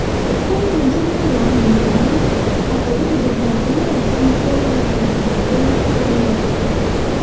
lẹ́yìn ọjọ́ mẹ́wàá nìgbélé akọ̀wé ìjọba ìpínlẹ̀ ọ̀sùn bọ́ lọ́wọ́ àrùn kòǹgóláfàírọ́ọ̀sì